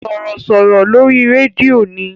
Sọ̀rọ̀sọ̀rọ̀ lórí rédíò ni.